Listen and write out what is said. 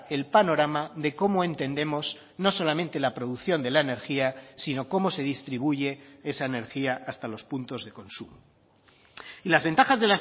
el panorama de cómo entendemos no solamente la producción de la energía sino cómo se distribuye esa energía hasta los puntos de consumo y las ventajas